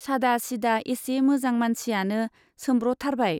सादा सिदा एसे मोजां मानसियानो सोम्ब्रथारबाय।